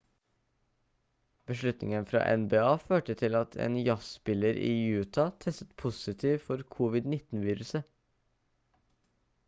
beslutningen fra nba førte til at en jazzspiller i utah testet positivt for covid-19-viruset